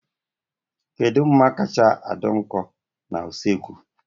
Kedu mma kacha dị nkọ na usekwu?